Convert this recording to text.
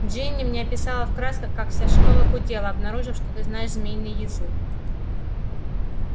джинни мне описала в красках как вся школа гудела обнаружив что ты знаешь змеиный язык